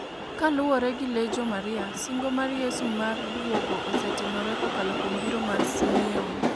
Kaluwore gi Legio Maria singo mar Yesu mar duogo osetimore kokalo kuom biro mar Simeon.